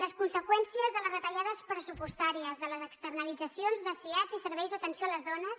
les conseqüències de les retallades pressupostàries de les externalitzacions de siads i serveis d’atenció a les dones